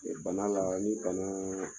bana la ni bana